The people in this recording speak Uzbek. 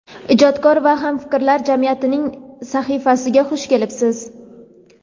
ijodkor va hamfikrlar jamiyatining sahifasiga xush kelibsiz.